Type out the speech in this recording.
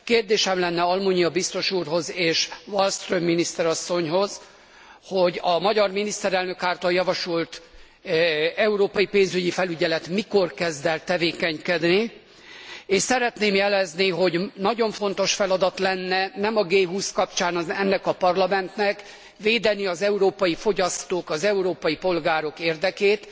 Kérdésem lenne Almunia biztos úrhoz és Wallström miniszter asszonyhoz, hogy a magyar miniszterelnök által javasolt európai pénzügyi felügyelet mikor kezd el tevékenykedni, és szeretném jelezni, hogy nagyon fontos feladat lenne nem a G 20 kapcsán ennek a Parlamentnek, védeni az európai fogyasztók, az európai polgárok érdekét.